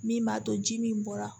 Min b'a to ji min bɔra